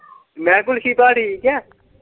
ਮੈਂ ਕਿਹਾ ਗੁੱਲਛੀ ਭਾਅ ਠੀਕ ਏ।